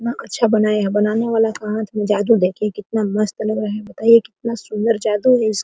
कितना अच्छा बनाया है बनाने वाला के हाथ में जादू है देखिए कितना मस्त लग रहा है बताई कितना सुंदर जादू है इस --